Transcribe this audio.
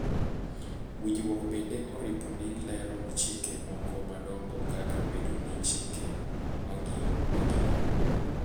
Winjruok bende oripo ni lero chike moko madongo kaka bedo gi chike maging'o